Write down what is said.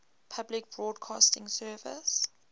public broadcasting service